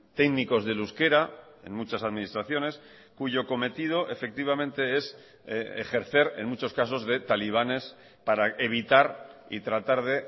técnicos del euskera en muchas administraciones cuyo cometido efectivamente es ejercer en muchos casos de talibanes para evitar y tratar de